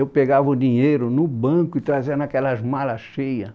Eu pegava o dinheiro no banco e trazia naquelas malas cheias.